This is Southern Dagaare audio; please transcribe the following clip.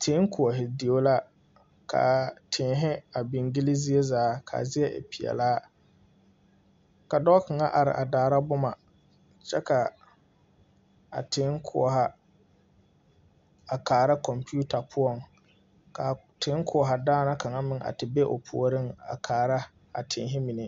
Tee koɔhe deo la. ka a teehe a biŋ gyili zie zaa ka a zie e piɛlaa. Ka dɔɔ kanga are a daara boma. Kyɛ ka a tee koɔha a kaara komputa poʊŋ. Ka a tee koɔha daana kanga meŋ a te be o pooreŋ a kaara a teehe mene.